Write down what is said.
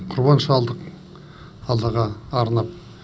құрбан шалдық аллаға арнап